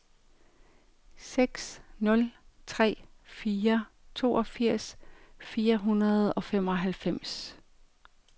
seks nul tre fire toogfirs fire hundrede og femoghalvfems